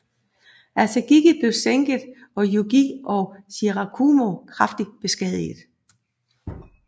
Asagiri blev sænket og Yugiri og Shirakumo kraftigt beskadiget